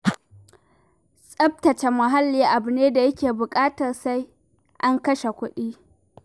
Tsaftace muhalli abu ne da yake buƙatar sai an kashe kuɗi.